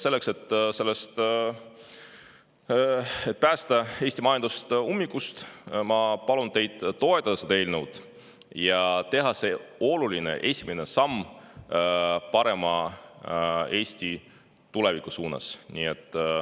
Selleks, et päästa Eesti majandus ummikust, ma palun teil toetada seda eelnõu ja teha see oluline esimene samm Eesti parema tuleviku suunas.